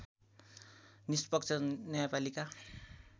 निष्पक्ष न्यायपालिका